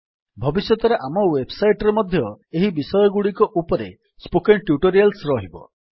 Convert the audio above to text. ଭବିଷ୍ୟତରେ ଆମ ୱେବସାଇଟ୍ ରେ ମଧ୍ୟ ଏହି ବିଷୟଗୁଡ଼ିକ ଉପରେ ସ୍ପୋକେନ୍ ଟ୍ୟୁଟୋରିଆଲ୍ସ ରହିବ